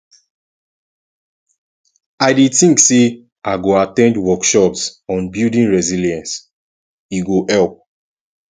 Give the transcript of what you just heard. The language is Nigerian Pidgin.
i dey think say i go at ten d workshops on building resilience e go help